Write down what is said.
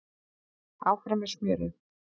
Áfram með smjörið